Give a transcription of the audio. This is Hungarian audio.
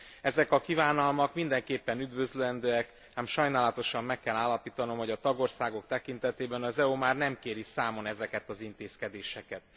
Ezek a kívánalmak mindenképpen üdvözlendőek, ám sajnálatosan meg kell állapítanom, hogy a tagországok tekintetében az EU már nem kéri számon ezeket az intézkedéseket.